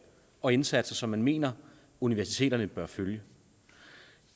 og indsatser man mener universiteterne bør følge